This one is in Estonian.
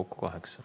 Kokku kaheksa.